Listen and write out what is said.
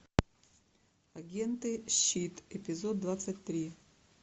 агенты щит эпизод двадцать три